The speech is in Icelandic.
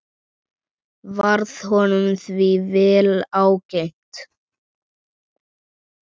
Varð honum því vel ágengt.